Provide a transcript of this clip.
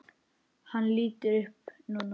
Hann lítur upp núna.